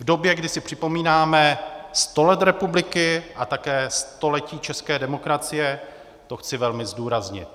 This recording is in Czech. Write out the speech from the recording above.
V době, kdy si připomínáme sto let republiky a také století české demokracie, to chci velmi zdůraznit.